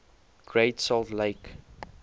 great salt lake